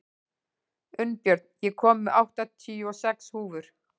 Unnbjörn, ég kom með áttatíu og sex húfur!